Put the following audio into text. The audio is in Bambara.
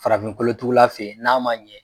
Farafin kolotugula fe n'a ma ɲɛ